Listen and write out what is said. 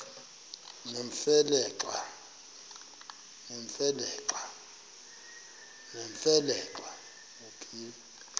nemfe le xa